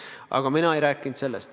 Aga mina ei rääkinud sellest.